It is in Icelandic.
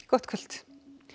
gott kvöld